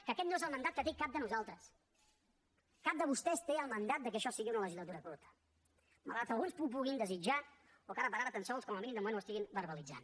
que aquest no és el mandat que té cap de nosaltres cap de vostès té el mandat que això sigui una legislatura curta malgrat que alguns ho puguin desitjar o que ara per ara tan sols com a mínim de moment ho estiguin verbalitzant